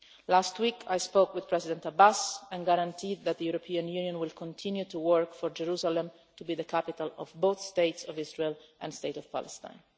Last week, I spoke with President Abbas and guaranteed that the European Union will continue to work for Jerusalem to be the capital of both the state of Israel and the state of Palestine.